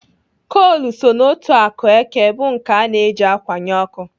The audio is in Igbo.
Kol so n'otu akụ eke bụ nke ana eji akwanye ọkụ.